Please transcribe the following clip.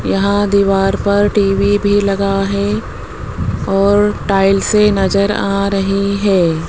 यहां दीवार पर टी_वी भी लगा है और टाइल्स नज़र आ रही हैं।